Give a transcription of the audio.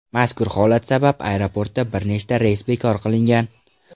Mazkur holat sabab aeroportda bir nechta reys bekor qilingan.